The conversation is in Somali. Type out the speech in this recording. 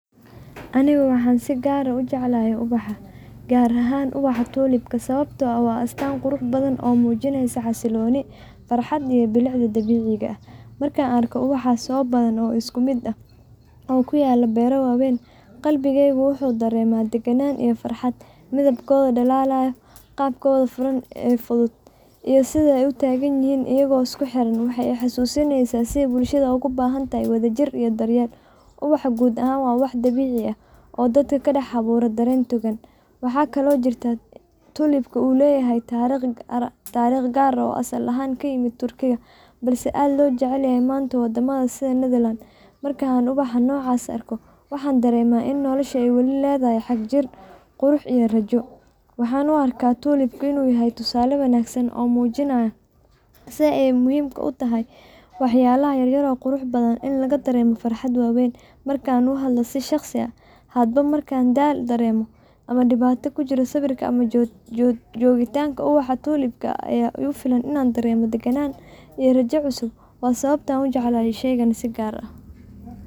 Anika waxa si kaar aah u jeclahay u bax kaar ahaan ubaxa tolika, sawabta oo aah wa astaan quruxbathan oo mujinasoh farxad iyo bilcda deganka, marka aa ubaxa oo bathan oo iskumit aah oo kuyaloh beera waweeyn qabigeyhka waxu dareemah daganan iyo farxad mithibkotha dalalyoh qab Kotha futhut iyo setha u taganyahin iyaku iskuxeran ee xasuseneysah iyagu bulshada kubahantaho wadajir iyo daryeel, ubaxa kuud ahaan wa wax dabecika aah oo dadka kadax abuuroh deran dagan markan ubaxa nocase arkoh waxan dareemaha nolosha ay wali leedahay xaga jir, qurux iyo rajo waxan u arkah tolib inu yahay tusale wanagsan oo mujinaya setha muhim u tahay waxyalaha yara wa sawabta u jeclahay sheeygan si kaar aah .